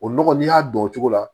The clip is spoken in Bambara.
O nɔgɔ n'i y'a dɔn o cogo la